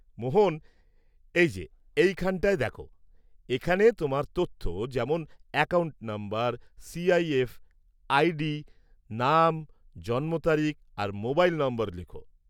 মোহন, এই যে, এখানটায় দেখো, এখানে তোমার তথ্য, যেমন অ্যাকাউন্ট নম্বর, সিআইএফ আইডি, নাম, জন্ম তারিখ আর মোবাইল নম্বর লেখো।